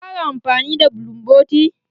Kin fara amfani da bulumboti?